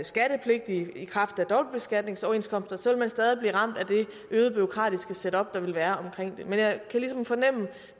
skattepligtig i kraft af dobbeltbeskatningsoverenskomster vil man stadig blive ramt af det øgede bureaukratiske setup der vil være omkring det men jeg kan ligesom fornemme